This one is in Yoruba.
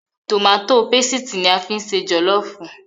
Tòmátó pesìtì ni a fi ń ṣe jọ̀lọ́ọ̀fù